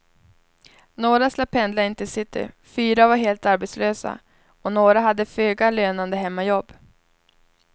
Några slapp pendla in till city, fyra var helt arbetslösa och några hade föga lönande hemmajobb.